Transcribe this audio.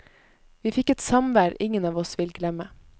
Vi fikk et samvær ingen av oss vil glemme.